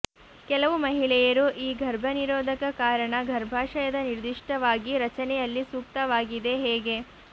ಕೆಲವು ಮಹಿಳೆಯರು ಈ ಗರ್ಭನಿರೋಧಕ ಕಾರಣ ಗರ್ಭಾಶಯದ ನಿರ್ದಿಷ್ಟವಾಗಿ ರಚನೆಯಲ್ಲಿ ಸೂಕ್ತವಾಗಿದೆ ಹೇಗೆ